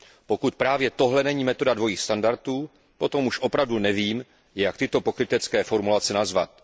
Pokud právě tohle není metoda dvojích standardů, potom už opravdu nevím, jak tyto pokrytecké formulace nazvat.